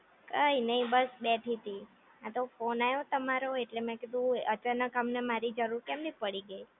કંઈ નહિ જો બેઠી છું, આતો ફોન આવ્યો ને તમારો એટલે મેં કીધું અચાનક તમને મારી જરૂર કેમની પડી ગઈ